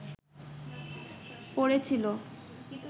পড়ে ছিলো